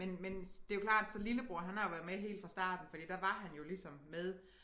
Men men det jo klart så lillebror han har jo været med helt fra starten fordi der var han jo ligesom med